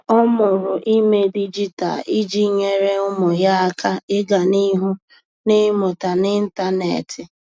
Ọ́ mụrụ ímé dịjịta iji nyèré ụ́mụ́ yá áká ị́gá n’ihu n’ị́mụ́ta n’ị́ntánétị̀.